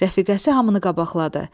Rəfiqəsi hamını qabaqladı.